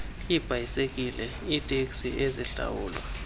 iibhayisekile iiteksi ezihlawulwa